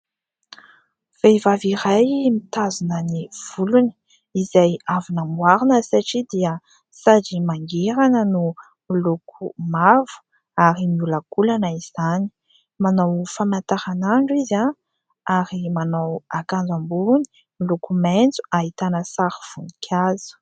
Vehivavy iray mitazona ny volony izay avy namboarina satria dia sady mangirana no miloko mavo ary miolakolana izany manao famantaranandro izy ary manao akanjo ambony miloko maintso ahitana sarivoninkazo